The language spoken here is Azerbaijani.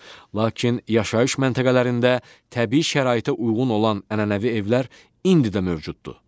Lakin yaşayış məntəqələrində təbii şəraitə uyğun olan ənənəvi evlər indi də mövcuddur.